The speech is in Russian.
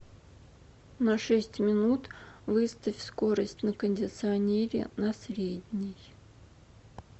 на шесть минут выставь скорость на кондиционере на средний